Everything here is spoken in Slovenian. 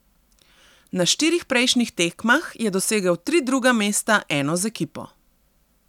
Na štirih prejšnjih tekmah je dosegel tri druga mesta, eno z ekipo.